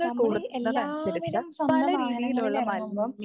നമ്മളീ എല്ലാവരും സ്വന്തം വാഹനങ്ങളിൽഎറങ്ങുമ്പം